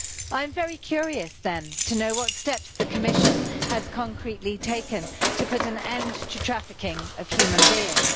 I am very curious to know what steps the Commission has concretely taken to put an end to the trafficking of human beings.